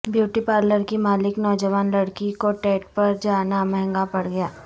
beauty پارلرکی مالک نوجوان لڑکی کو ڈیٹ پر جانا مہنگا پڑ گیا